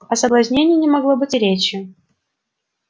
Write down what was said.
о соблазнении не могло быть и речи